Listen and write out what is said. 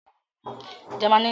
Jamaní ni hámúbọgà ti ṣẹ̀.